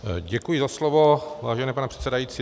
Děkuji za slovo, vážený pane předsedající.